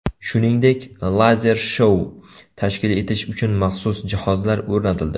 Shuningdek, lazer-shou tashkil etish uchun maxsus jihozlar o‘rnatildi.